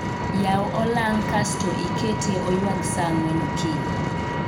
Yaw olang' kasto ikete oywag saa ang'wen okinyi